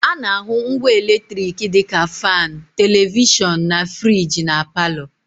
A na-ahụ ngwa eletriki dị ka faanụ, televishọnụ, na friji na palọ